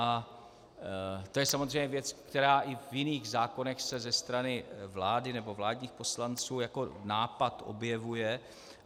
A to je samozřejmě věc, která i v jiných zákonech se ze strany vlády nebo vládních poslanců jako nápad objevuje.